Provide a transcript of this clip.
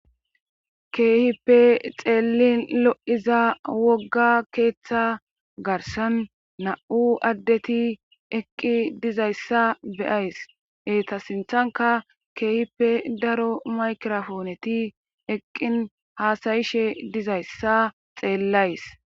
keehippe xeellin lo7iza wogga keeththa garsan na7u addeti eqqi dizayssa beyays eeta sinthanka keehippe daro makrofooneti eqqin haasayishe dizayssa xeellays